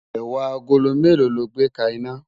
ẹwà àgólọ̀ mélò ló gbè ka iná?